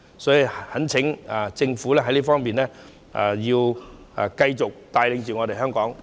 所以，懇請政府在這方面要繼續帶領香港。